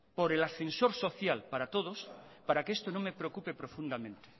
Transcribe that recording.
por el ascensor social para todos para que esto no me preocupe profundamente